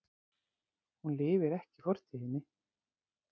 Hún lifir ekki í fortíðinni.